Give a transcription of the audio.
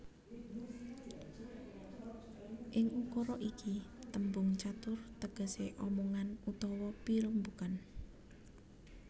Ing ukara iki tembung catur tegesé omongan utawa pirembugan